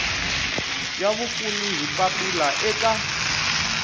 ya vapfuni hi papila eka